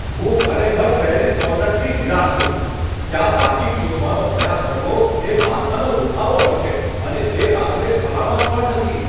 હું ખરેખર પેરિઝ કોર્નરથી નિરાશ છું. ત્યાં પાર્કિંગ શોધવાનો પ્રયાસ કરવો એ માથાનો દુખાવો હશે, અને તે રાત્રે સલામત પણ નથી.